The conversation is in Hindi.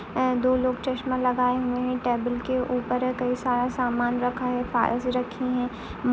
अ दो लोग चश्मा लगाए हुए है। टेबल के ऊपर कई सारा सामान रखा है। फ़ाइल्स भी रखी है। म --